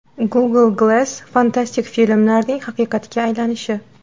Google Glass fantastik filmlarning haqiqatga aylanishi.